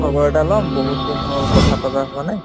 খবৰ এটা লম বহুতদিন হল কথাপাতা হোৱা নাই